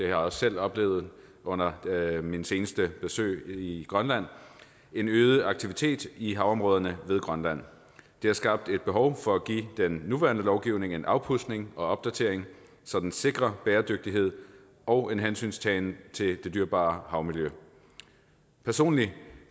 jeg også selv oplevet under mit seneste besøg i grønland en øget aktivitet i havområderne ved grønland det har skabt et behov for at give den nuværende lovgivning en afpudsning og opdatering så den sikrer bæredygtighed og en hensyntagen til det dyrebare havmiljø personligt